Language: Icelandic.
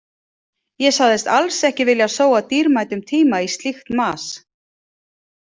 Ég sagðist alls ekki vilja sóa dýrmætum tíma í slíkt mas.